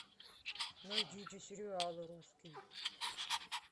найдите сериалы русские